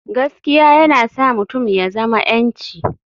Gaskiya yana sa mutum ya zama 'yanci.